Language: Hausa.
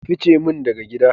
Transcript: Ka ficimin daga gida.